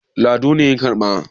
lado ne ya karɓa